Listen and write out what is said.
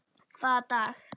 Hvaða dag?